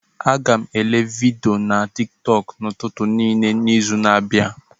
Aga m èlé vidiyo na tiktok n'ụtụtụ niile n'izu a na-abịa